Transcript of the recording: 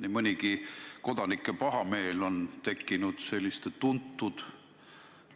Nii mõnigi kord on kodanike pahameel tekkinud tuntud